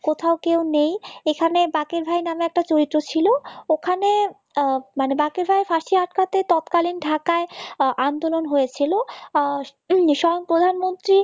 কোথাও কেউ নেই এখানে বাকের ভাই নামে একটা চরিত্র ছিল ওখানে বাকের ভাই এর ফাঁসি আটকাতে তৎকালীন ঢাকায় আন্দোলন হয়েছিল স্বয়ং প্রধানমন্ত্রী